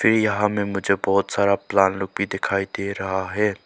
यहां मैं मुझे बहुत सारा प्लान रूपी दिखाई दे रहा है।